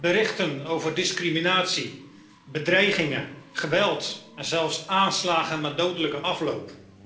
Berichten over discriminatie, bedreigingen, geweld en zelfs aanslagen met dodelijke afloop.